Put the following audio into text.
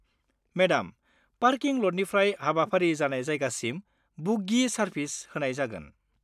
Madam, parking लटनिफ्राय हाबाफारि जानाय जायगासिम बुग्गि सारभिस होनाय जागोन।